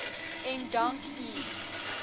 ek dank u